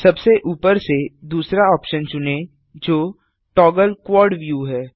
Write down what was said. सबसे ऊपर से दूसरा ऑप्शन चुनें जो टॉगल क्वाड viewहै